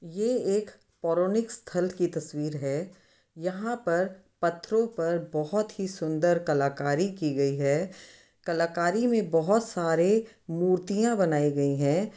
ये एक पोरोनिक स्थल की तस्वीर है। यहां पर पत्थरों पर बहोत ही सुंदर कलाकारी की गयी है। कलाकारी में बहोत सारे मुर्तियां बनाई गई हैं।